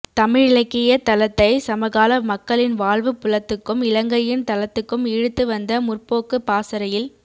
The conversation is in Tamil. தமிழிலக்கியத் தளத்தை சமகால மக்களின் வாழ்வுப் புலத்துக்கும் இலங்கையின் தளத்துக்கும் இழுத்து வந்த முற்போக்குப் பாசறையில்